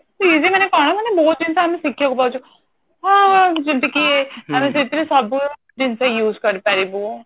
easy ମାନେ କଣ ମାନେ ବହୁତ ଜିନିଷ ଆମେ ଶିଖିବାକୁ ପାଉଛୁ ହଁ ଯେମତିକି ଆମେ ସେମତିରେ ସବୁ ଜିନିଷ use କରି ପାରିବୁ